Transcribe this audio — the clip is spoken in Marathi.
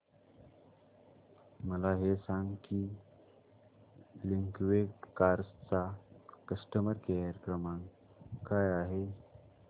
मला हे सांग की लिंकवे कार्स चा कस्टमर केअर क्रमांक काय आहे